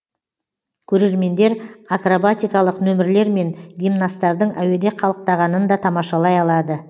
көрермендер акробатикалық нөмірлер мен гимнасттардың әуеде қалықтағанын да тамашалай алады